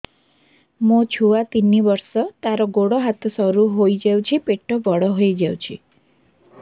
ମୋ ଛୁଆ ତିନି ବର୍ଷ ତାର ଗୋଡ ହାତ ସରୁ ହୋଇଯାଉଛି ପେଟ ବଡ ହୋଇ ଯାଉଛି